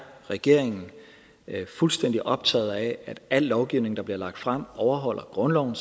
regeringen fuldstændig optaget af at al lovgivning der bliver lagt frem overholder grundloven